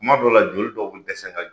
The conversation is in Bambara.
Kuma dɔ la joli dɔw bɛ dɛsɛ ka jɔ.